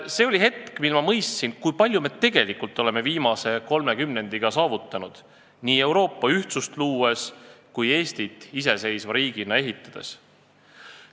See oli hetk, mil ma mõistsin, kui palju me tegelikult oleme viimase kolme kümnendiga saavutanud – nii Euroopa ühtsust luues kui Eestit iseseisva riigina ehitades.